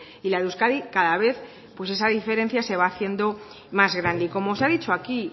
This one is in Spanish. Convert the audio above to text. y la de euskadi cada vez pues esa diferencia se va haciendo más grande y como se ha dicho aquí